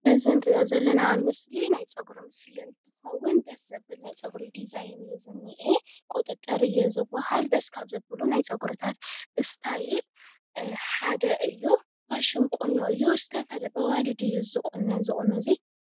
እዚ እንርእዮ ዘለና ምስሊ ናይ ፀጉሪ ምስሊ እንትከዉን ደስ ዘብል ናይ ፀጉሪ ዲዛይን እዩ ዝንኤ ቁጥጥር እዩ ዝበሃል ደስ ካብዘብሉ ናይ ፀጉሪ እሰታይል ሓደ እዩ ፋሽን ቁኖ እዩ በኣዋለድ እዩ ዝቁነን እዚ ቁኖ እዚ፡፡